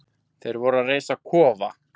Þeir voru að reisa kofa.